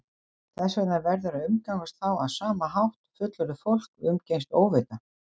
Þess vegna verður að umgangast þá á sama hátt og fullorðið fólk umgengst óvita